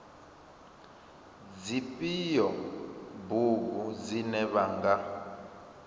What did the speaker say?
dzifhio bugu dzine vha nga